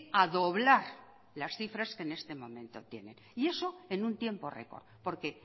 a doblar las cifras que en este momento tiene y eso en un tiempo récord porque